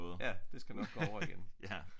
Ja det skal nok gå over igen